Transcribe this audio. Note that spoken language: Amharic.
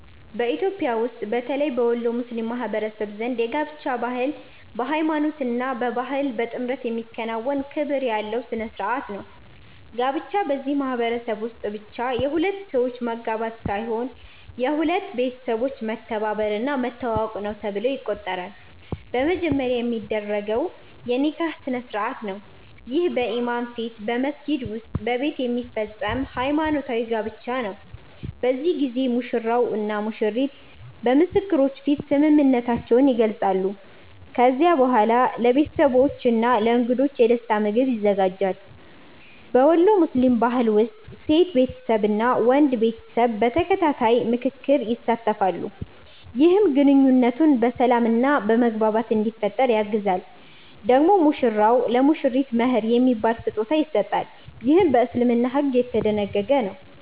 በኢትዮጵያ ውስጥ በተለይ በወሎ ሙስሊም ማህበረሰብ ዘንድ የጋብቻ ባህል በሃይማኖት እና በባህል በጥምረት የሚከናወን ክብር ያለው ሥነ ሥርዓት ነው። ጋብቻ በዚህ ማህበረሰብ ውስጥ ብቻ የሁለት ሰዎች መጋባት ሳይሆን የሁለት ቤተሰቦች መተባበር እና መተዋወቅ ነው ተብሎ ይቆጠራል። በመጀመሪያ የሚደረገው የ“ኒካህ” ስነ-ሥርዓት ነው። ይህ በኢማም ፊት በመስጊድ ወይም በቤት የሚፈጸም ሃይማኖታዊ ጋብቻ ነው። በዚህ ጊዜ ሙሽራው እና ሙሽሪቱ በምስክሮች ፊት ስምምነታቸውን ይገልጻሉ። ከዚያ በኋላ ለቤተሰቦች እና ለእንግዶች የደስታ ምግብ ይዘጋጃል። በወሎ ሙስሊም ባህል ውስጥ ሴት ቤተሰብ እና ወንድ ቤተሰብ በተከታታይ ምክክር ይሳተፋሉ፣ ይህም ግንኙነቱ በሰላም እና በመግባባት እንዲፈጠር ያግዛል። ደግሞ ሙሽራው ለሙሽሪቱ “መህር” የሚባል ስጦታ ይሰጣል፣ ይህም በእስልምና ሕግ የተደነገገ ነው።